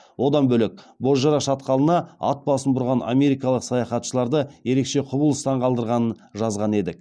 одан бөлек бозжыра шатқалына ат басын бұрған америкалық саяхатшыларды ерекше құбылыс таңғалдырғанын жазған едік